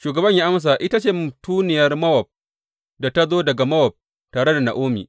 Shugaban ya amsa, Ita ce mutuniyar Mowab da ta zo daga Mowab tare da Na’omi.